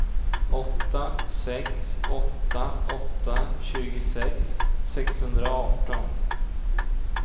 åtta sex åtta åtta tjugosex sexhundraarton